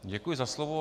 Děkuji za slovo.